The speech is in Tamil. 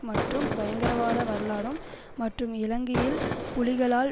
மற்றும் பயங்கரவாத வரலாறும் மற்றும் இலங்கையில் புலிகளால்